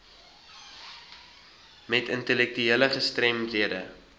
met intellektuele gestremdhede